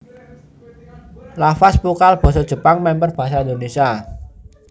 Lafaz vokal basa Jepang mèmper basa Indonésia